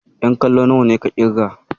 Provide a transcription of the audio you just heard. Ƴan kallo nawa ka ƙirga?